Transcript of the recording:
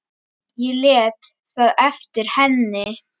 Ég lét það eftir henni.